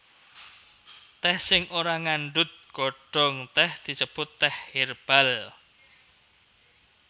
Tèh sing ora ngandhut godhong tèh disebut tèh hèrbal